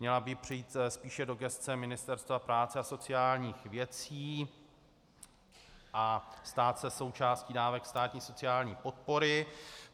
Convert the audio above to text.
Měla by přejít spíše do gesce Ministerstva práce a sociálních věcí a stát se součástí dávek státní sociální podpory.